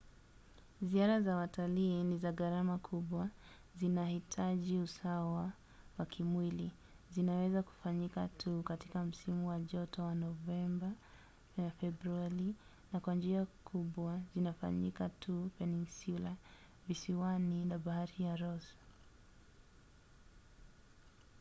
ziara za watalii ni za gharama kubwa zinahitaji usawa wa kimwili zinaweza kufanyika tu katika msimu wa joto wa novemba-februari na kwa njia kubwa zinafanyika tu peninsula visiwani na bahari ya ross